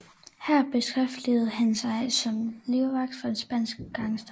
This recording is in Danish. Her beskæftigede han sig som livvagt for en spansk gangster